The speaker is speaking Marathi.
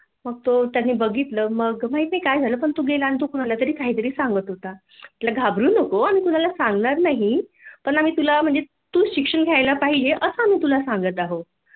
मग तो त्याने बघितल माहित नाही काय झाल पण तो गेला आणि कुणाला तरी काय तरी सांगत होता म्हटल घाबरू नको मी कुणाला सांगणार नाही पण आम्ही तुला तु शिक्षण घ्यायला पाहीजे असं आम्ही तुला सांगत आहोत